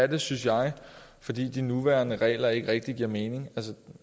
den synes jeg fordi de nuværende regler ikke rigtig giver mening